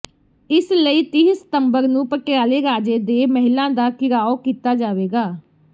ਇਸ ਲਈ ਤੀਹ ਸਤੰਬਰ ਨੂੰ ਪਟਿਆਲੇ ਰਾਜੇ ਦੇ ਮਹਿਲਾਂ ਦਾ ਿਘਰਾਓ ਕੀਤਾ ਜਾਵੇਗਾ